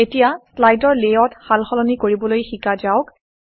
এতিয়া শ্লাইডৰ লেআউট সাল সলনি কৰিবলৈ শিকা যাওক